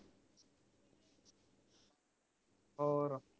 ਹੋਰ